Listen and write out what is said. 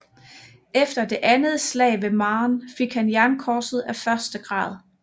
Efter det andet slag ved Marne fik han jernkorset af første grad